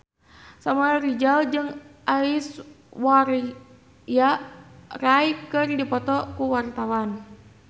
Samuel Rizal jeung Aishwarya Rai keur dipoto ku wartawan